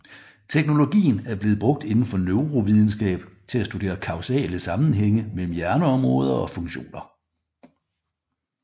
Teknologien er blevet brugt inden for neurovidenskab til at studere kausale sammenhæng mellem hjerneområder og funktioner